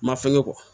Ma fɛngɛ